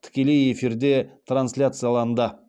тікелей эфирде трансляцияланды